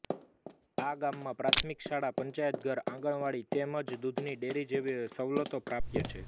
આ ગામમાં પ્રાથમિક શાળા પંચાયતઘર આંગણવાડી તેમ જ દૂધની ડેરી જેવી સવલતો પ્રાપ્ય છે